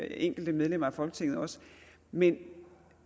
enkelte medlemmer af folketinget også men